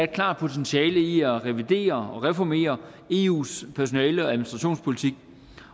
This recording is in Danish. klart potentiale i at revidere og reformere eus personale og administrationspolitik